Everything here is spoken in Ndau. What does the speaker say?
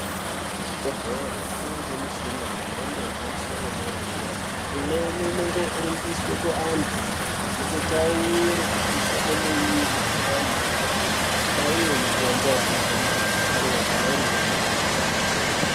Kuzvibhedhlere kwangemishini yemhando yepamsoro wedera dera. Imweni inongoringiswe ku antu, itotawure kupisha kwemuwiri. Antu votobayiwe mutombo yanofanira kubayiwa kana irindumure.